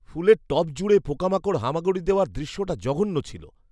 ফুলের টব জুড়ে পোকামাকড় হামাগুড়ি দেওয়ার দৃশ্যটা জঘন্য ছিল।